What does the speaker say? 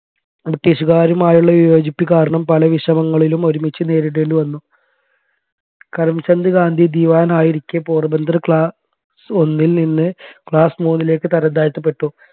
british കാറുമായുള്ള വിയോജിപ്പ് കാരണം പല വിഷമങ്ങളിലും ഒരുമിച്ച് നേരിടേണ്ടി വന്നു കരംചന്ദ് ഘനാധി ദിവാനായിരിക്കെ പോർബന്ദർ class ഒന്നിൽ നിന്ന് class മൂന്നിലേക് തരംതാഴ്ത്തപെട്ടു